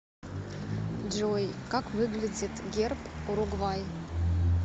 джой как выглядит герб уругвай